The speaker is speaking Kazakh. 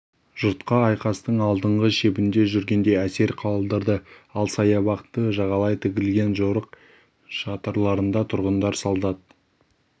жұртқа айқастың алдыңғы шебінде жүргендей әсер қалдырды ал саябақты жағалай тігілген жорық шатырларында тұрғындар солдат